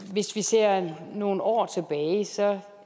hvis vi ser nogle år tilbage ser